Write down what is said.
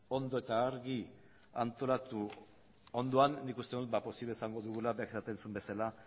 ondo eta argi antolatu ondo han nik uste dut ba posible izango dugula berak esaten zuen bezala